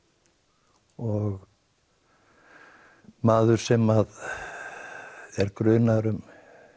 og maður sem er grunaður um